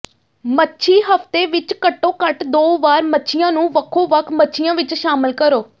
ਮੱਛੀ ਹਫ਼ਤੇ ਵਿਚ ਘੱਟੋ ਘੱਟ ਦੋ ਵਾਰ ਮੱਛੀਆਂ ਨੂੰ ਵੱਖੋ ਵੱਖ ਮੱਛੀਆਂ ਵਿਚ ਸ਼ਾਮਲ ਕਰੋ